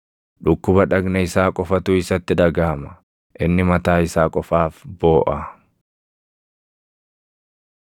Dhukkuba dhagna isaa qofatu isatti dhagaʼama; inni mataa isaa qofaaf booʼa.”